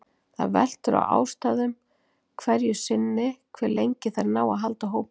Það veltur á aðstæðum hverju sinni hve lengi þær ná að halda hópinn.